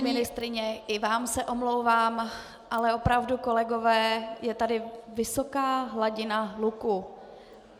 Paní ministryně, i vám se omlouvám, ale opravdu, kolegové, je tady vysoká hladina hluku.